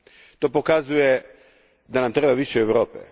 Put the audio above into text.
To pokazuje da nam treba više Europe.